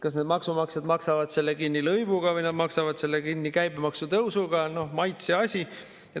Kas need maksumaksjad maksavad selle kinni lõivuga või nad maksavad selle kinni käibemaksu tõusuga, on maitseasi.